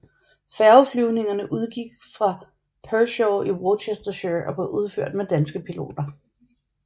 Færgeflyvningerne udgik fra Pershore i Worcestershire og blev udført med danske piloter